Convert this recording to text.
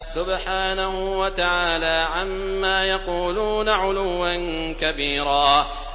سُبْحَانَهُ وَتَعَالَىٰ عَمَّا يَقُولُونَ عُلُوًّا كَبِيرًا